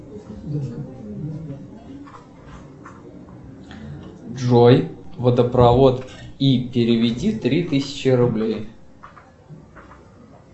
джой водопровод и переведи три тысячи рублей